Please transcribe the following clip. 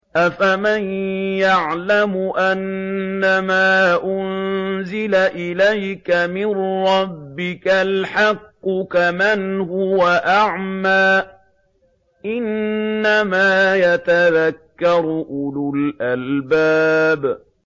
۞ أَفَمَن يَعْلَمُ أَنَّمَا أُنزِلَ إِلَيْكَ مِن رَّبِّكَ الْحَقُّ كَمَنْ هُوَ أَعْمَىٰ ۚ إِنَّمَا يَتَذَكَّرُ أُولُو الْأَلْبَابِ